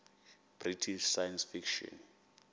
british science fiction